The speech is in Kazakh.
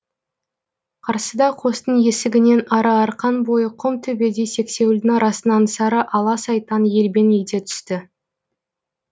қарсыда қостың есігінен ары арқан бойы құм төбеде сексеуілдің арасынан сары ала сайтан елбең ете түсті